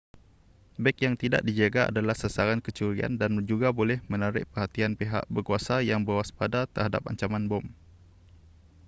beg yang tidak dijaga adalah sasaran kecurian dan juga boleh menarik perhatian pihak berkuasa yang berwaspada terhadap ancaman bom